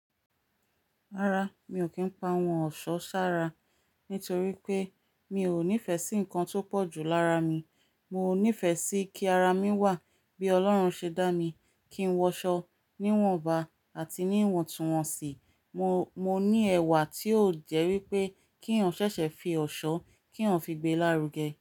Rárá, mi ò kí ń pa àwọn ọ̀ṣọ́ ṣára nítorí pé mi ò nífẹ̀ẹ́ sí nǹkan tó pọ̀ ju lára mi. Mo nífẹ̀ẹ́ sí kí ara mi wà bí Ọlọ́run ṣe dá mi, kí n wọṣọ níwọ̀nba àti níwọ̀ntúnwọ̀nsì. Mo ní ẹ̀wà tí ò jẹ́ wípé ki eeyan ṣẹ̀ṣẹ̀ fi ọ̀ṣọ́ kí eeyan fi gbé lárugẹ.